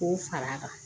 K'o fara a kan